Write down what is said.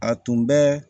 A tun bɛ